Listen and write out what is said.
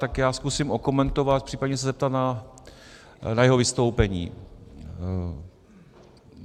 Tak já zkusím okomentovat, případně se zeptat na jeho vystoupení.